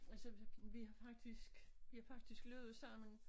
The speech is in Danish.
Altså vi har faktisk vi har faktisk løbet sammen